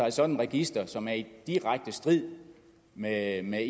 et sådant register som er i direkte strid med med